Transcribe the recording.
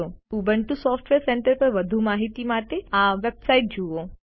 Ubuntu software centre પર વધુ માહિતી માટે આ વેબસાઈટ જુઓ